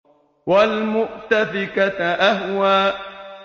وَالْمُؤْتَفِكَةَ أَهْوَىٰ